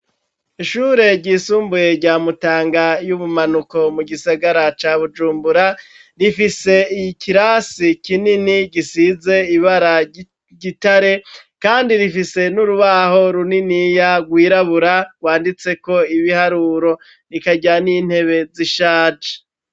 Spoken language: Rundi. Ishure ryisumbuye rya Mutanga y'ubumanuko mu gisagara ca Bujumbura rifise ikirasi kinini gisize ibara ry'igitare kandi rifise n'urubaho runiniya rwirabura rwanditseko ibiharuro rikagira n'intebe zishaje.